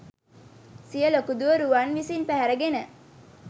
සිය ලොකු දුව රුවන් විසින් පැහැර ගෙන